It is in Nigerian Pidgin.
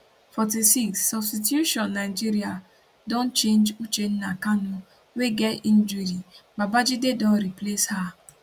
46 substitution nigeria don change uchenna kanu wey get injury babajide don replace her